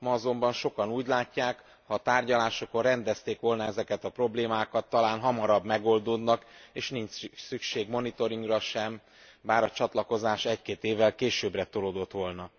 Ma azonban sokan úgy látják, ha a tárgyalásokon rendezték volna ezeket a problémákat, talán hamarabb megoldódnak és nincs szükség monitoringra sem bár a csatlakozás egy két évvel későbbre tolódott volna.